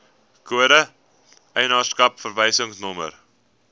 kode eienaarskap verwysingsnommer